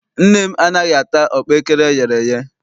Nne m anaghị ata ọkpaekere eyere eye.